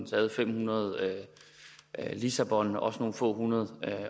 taget fem hundrede lissabon også nogle få hundrede